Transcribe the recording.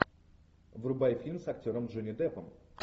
врубай фильм с актером джонни деппом